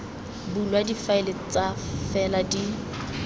bulwa difaele fa fela di